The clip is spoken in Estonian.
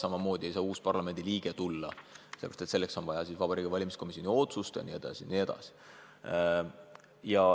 Samamoodi ei saa uus parlamendiliige lihtsal moel ametisse astuda, sellepärast et selleks on vaja Vabariigi Valimiskomisjoni otsust.